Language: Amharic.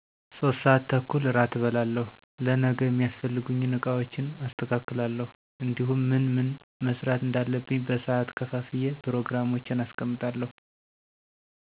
3:30 እራት እበላለሁ: ለነገ የሚያስፈልጉኝን እቃዎችን አስተካክላለሁ እንዲሁም ምን ምን መስራት እንዳለብኝ በሰዓት ከፋፍዬ ፕሮግራሞቼን አስቀምጣለሁ።